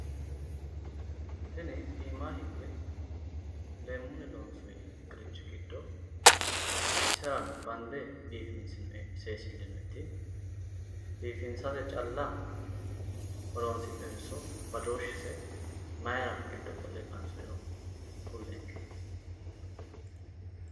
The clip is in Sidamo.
Tini iimaanni higge leemmunni loonsoyi qiricci giddo biifinse seesillinoyiti biifisate calla horoonsi'noyitenso badooshshise mayira giddi qolle qansoyiro kullenke.